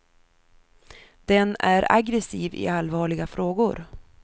Den är aggressiv i allvarliga frågor.